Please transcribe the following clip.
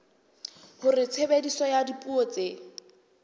hore tshebediso ya dipuo tse